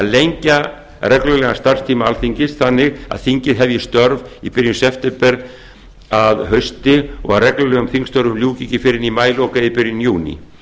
lengja reglulegan starfstíma alþingis þannig að þingið hefji störf í byrjun septembermánaðar að hausti og að reglulegum þingstörfum ljúki ekki fyrr en í maílok eða byrjun júní